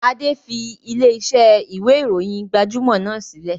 Adé fi ilẹ̀ ìṣe ìwé ìròyìn gbajúmọ̀ náà sílẹ̀